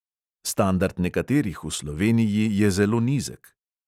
Standard nekaterih v sloveniji je zelo nizek.